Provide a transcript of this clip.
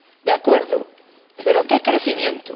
De acuerdo, pero ¿qué crecimiento?